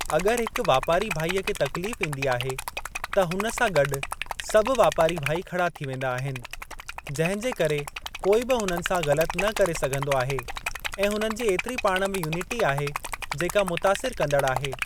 अॻरि हिक वापारी भाईअ खे तकलीफ़ ईंदी आहे त हुन सा गॾु सभु वापारी भाई खड़ा थी वेंदा आहिनि, जंहिंजे करे कोई बि हुननि सां ग़लति न करे सघंदो आहे ऐं हुननि जी ऐतिरी पाण में यूनिटी आहे जेका मुतासिर कंदड़ आहे।